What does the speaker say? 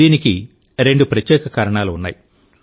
దీనికి రెండు ప్రత్యేక కారణాలు ఉన్నాయి